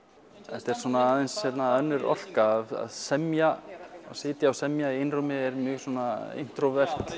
þetta er svona aðeins önnur orka að semja sitja og semja í einrúmi er mjög svona